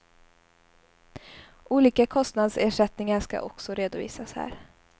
Olika kostnadsersättningar ska också redovisas här.